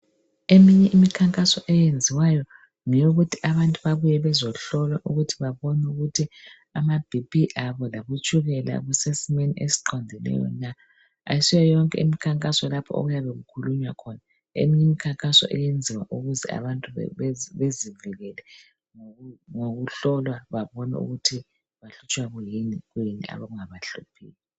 emineye imikhankaso eyenziwayo ngeyokuthi abantu babuye bezohlolwa ukuthi ababone ukuthi ama BP abo labotshukela kusesimweni esiqondileyo na ayisiyo yonke imikhankaso lapho okuyabe kukhulunywa khona eminye imikhankaso iyenziwa ukuze abantu bezivikele ngokuhlolwa babone ukuthi bahlutshwa kuyini kuyini okungabahluphiyo